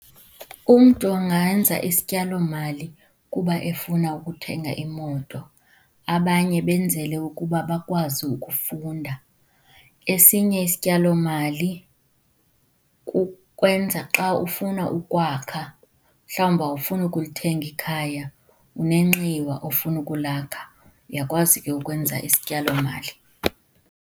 Umntu angenza isityalomali kuba efuna ukuthenga imoto, abanye benzele ukuba bakwazi ukufunda. Esinye isityalomali kukwenza xa ufuna ukwakha, mhlawumbi awufuni ukulithenga ikhaya unenxiwa ofuna ukulakha, uyakwazi ke ukwenza isityalomali.